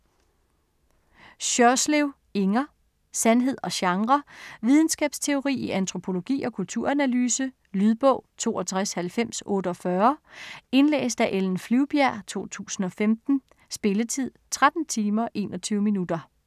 Sjørslev, Inger: Sandhed og genre Videnskabsteori i antropologi og kulturanalyse. Lydbog 629048 Indlæst af Ellen Flyvbjerg, 2015. Spilletid: 13 timer, 21 minutter.